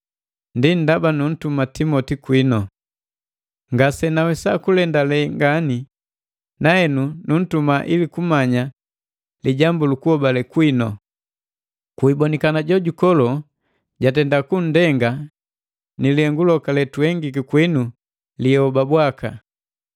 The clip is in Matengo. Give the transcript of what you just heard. Ndaba nunntuma Timoti kwinu. Ngasenawesa kulendale ngani, nahenu nuuntuma ili kumanya lijambu lukuhobale kwinu. Kwiibonikana Jojukolo jatenda kunndenga ni lihengu loka letuhengiki kwinu liihoba bwaka!